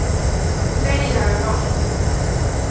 Þegja um allt.